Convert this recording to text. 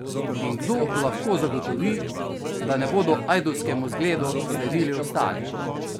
In kdo lahko zagotovi, da ne bodo ajdovskemu zgledu sledili ostali?